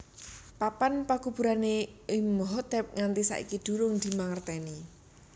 Papan pakuburané Imhotep nganti saiki during dimangertèni